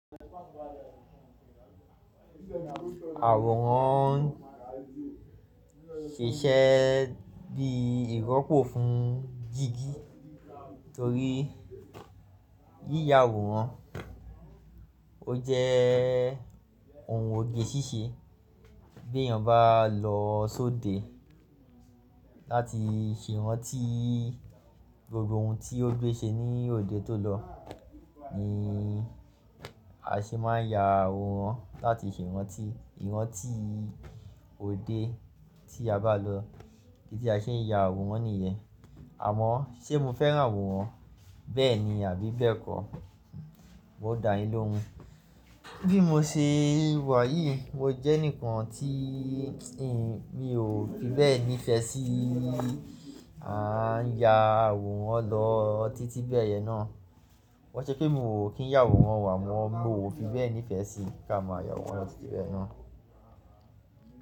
Àwòrán ṣíṣe bíi ìrọ́pò fún jìgì torí yíya àwòrán ó jẹ́ oun òge ṣíṣe bí èèyàn bá lọ sóde láti ṣe ìrántí gbogbo oun ti o gbé ṣe ní òde tó lọ ni a ṣe máa ń ya àwòrán láti ṣe ìrántí ìrántí òde tí a bá lọ idi ti a ṣe ń ya àwòrán nìyẹn. Àmọ́, ṣe mo fẹ́ràn àwòrán bẹ́ẹ̀ni àbí bẹ́ẹ̀kọ́? M o dà yín lóhun. Bí mo ṣe wà yìí mo jẹ́ ẹni kan tíi in mi ò fi bẹ́ẹ̀ nífẹ̀ẹ́ sí à ń ya àwòrán lọ títí bẹ́ẹ̀yẹn náà. Ko n ṣe pé mi mò kí n ya àwòrán o, amọ mò fi bẹ́ẹ̀ nífẹ̀ẹ́ sí ká máa ya àwòrán lọ títí bẹ́ẹ̀ náà.